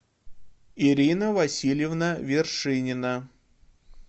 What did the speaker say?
ирина васильевна вершинина